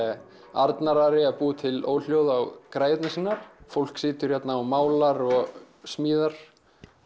Arnar Ari að búa til óhljóð á græjurnar sínar fólk situr hérna og málar og smíðar